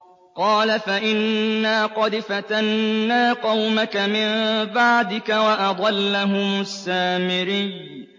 قَالَ فَإِنَّا قَدْ فَتَنَّا قَوْمَكَ مِن بَعْدِكَ وَأَضَلَّهُمُ السَّامِرِيُّ